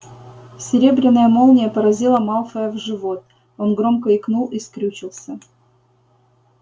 серебряная молния поразила малфоя в живот он громко икнул и скрючился